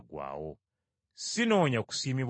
“Sinoonya kusiimibwa bantu.